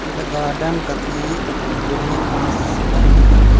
एला गार्डन कथे बढ़िया घास बंद उगे हे।